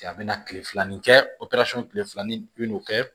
A bɛna kile filanan kɛ tile filanan i bɛ n'o kɛ